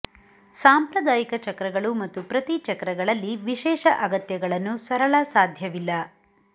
ಸಾಂಪ್ರದಾಯಿಕ ಚಕ್ರಗಳು ಮತ್ತು ಪ್ರತಿ ಚಕ್ರಗಳಲ್ಲಿ ವಿಶೇಷ ಅಗತ್ಯಗಳನ್ನು ಸರಳ ಸಾಧ್ಯವಿಲ್ಲ